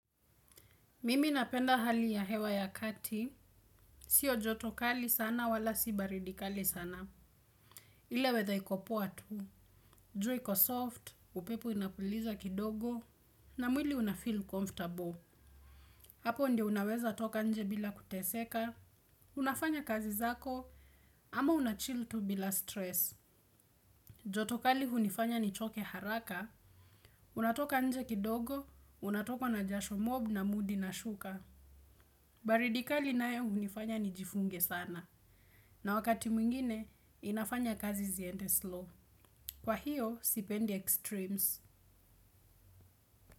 Mimi napenda hali ya hewa ya kati, sio joto kali sana wala si baridi kali sana. Ile weather iko poa tu, jua iko soft, upepuo inapuliza kidogo, na mwili unafeel comfortable. Hapo ndio unaweza toka nje bila kuteseka, unafanya kazi zako, ama unachill tu bila stress. Joto kali hunifanya nichoke haraka, unatoka nje kidogo, unatokwa na jasho mob na mood inashuka. Baridi kali nayo hunifanya nijifunge sana. Na wakati mwingine, inafanya kazi ziende slow. Kwa hiyo, sipendi extremes.